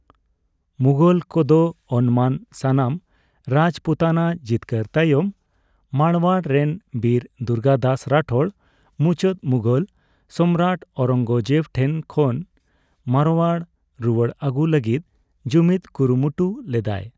ᱢᱩᱜᱷᱚᱞ ᱠᱚᱫᱚ ᱚᱱᱢᱟᱱ ᱥᱟᱱᱟᱢ ᱨᱟᱡᱯᱩᱛᱟᱱᱟ ᱡᱤᱛᱠᱟᱹᱨ ᱛᱟᱭᱚᱢ, ᱢᱟᱲᱣᱟᱲᱨᱮᱱ ᱵᱤᱨ ᱫᱩᱨᱜᱟᱹᱫᱟᱥ ᱨᱟᱴᱷᱳᱨ ᱢᱩᱪᱟᱹᱛ ᱢᱩᱜᱷᱳᱞ ᱥᱚᱢᱨᱟᱴ ᱳᱣᱨᱚᱝᱜᱚᱡᱮᱵ ᱴᱷᱮᱱ ᱠᱷᱚᱱ ᱢᱟᱨᱳᱣᱟᱲ ᱨᱩᱣᱟᱲ ᱟᱹᱜᱩᱭ ᱞᱟᱹᱜᱤᱫ ᱡᱩᱢᱤᱫ ᱠᱩᱨᱩᱢᱩᱴᱩ ᱞᱮᱫᱟᱭ ᱾